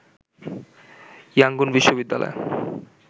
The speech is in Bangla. ইয়াংগুন বিশ্ববিদ্যালয়ে